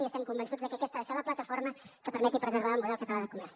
i estem convençuts de que aquesta ha de ser la plataforma que permeti preservar el model català de comerç